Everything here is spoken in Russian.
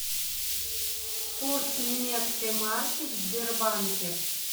курс немецкой марки в сбербанке